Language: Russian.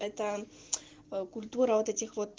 это культура вот этих вот